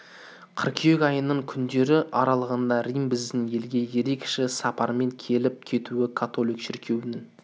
қыркүйек айының күндері аралығында рим біздің елге ерекше сапармен келіп кетуі католик шіркеуінің